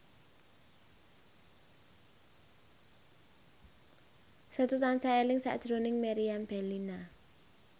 Setu tansah eling sakjroning Meriam Bellina